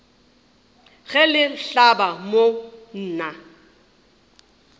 ge le hlaba mo nna